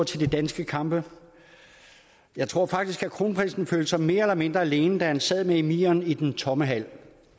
til de danske kampe jeg tror faktisk at kronprinsen følte sig mere eller mindre alene da han sad med emiren i den tomme hal